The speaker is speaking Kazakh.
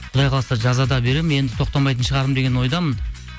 құдай қаласа жазада беремін енді тоқтамайтын шығармын деген ойдамын